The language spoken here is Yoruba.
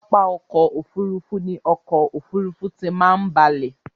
Pápá ọkò òfurufú ni ọkò òfurufú tí máa ń balẹ̀.